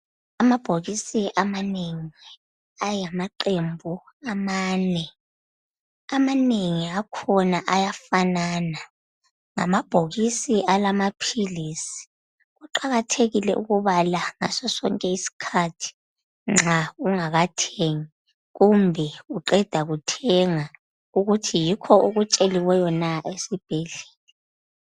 Amabhokisi amanengi ayimihlobo emine . Amanengi akhona ayafanana alamaphilisi. Kuqakathekile ukubala ngasosonke isikhathi ungakathengi kumbe usanda kuthenga ukuze ubone ukuthi yikho na okutsheliweyo esibhedlela.